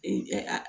Ee a